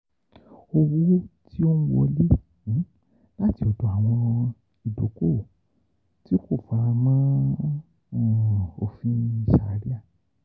OWO TI O NWOLE LATI ODO AWON IDOKOWO TI KO FARAMO OFIN SHARIA.